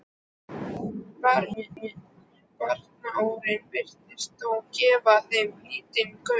Baróninn virtist þó gefa þeim lítinn gaum.